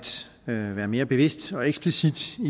være mere bevidst og eksplicit